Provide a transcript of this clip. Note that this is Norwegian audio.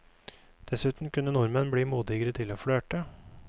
Dessuten kunne nordmenn bli modigere til å flørte.